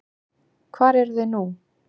Hvar eruð þið nú?